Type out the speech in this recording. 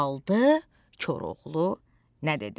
Aldı Koroğlu nə dedi?